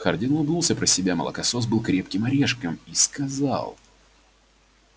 хардин улыбнулся про себя молокосос был крепким орешком и сказал